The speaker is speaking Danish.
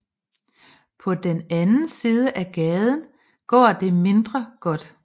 På den anden side af gaden går det mindre godt